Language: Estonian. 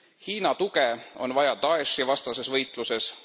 Hiina tuge on vaja Da'eshi vastases võitluses.